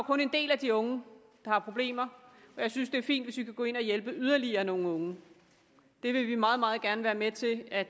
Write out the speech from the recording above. kun en del af de unge der har problemer og jeg synes det er fint hvis vi kan gå ind og hjælpe yderligere nogle unge det vil vi meget meget gerne være med til at